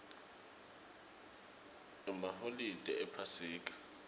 emaholide ephasika